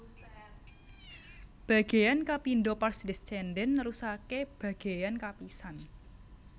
Bagéyan kapindho pars descendens nerusaké bagéyan kapisan